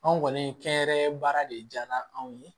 Anw kɔni kɛnyɛrɛye baara de jara anw ye